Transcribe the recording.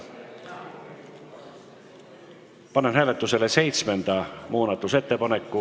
Panen hääletusele seitsmenda muudatusettepaneku.